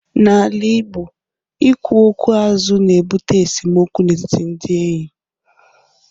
N'ala Igbo, ikwu okwu azụ na-ebute esemokwu n'etiti ndị enyi.